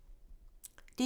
DR1